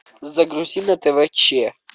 загрузи на тв че